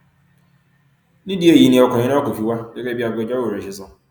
nídìí èyí ni ọkùnrin náà kò fi wá gẹgẹ bí agbẹjọrò rẹ ṣe sọ